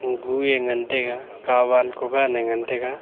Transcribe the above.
guu e ngantaiga kawan kugan ee ngantaiga.